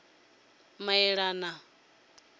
muleḓane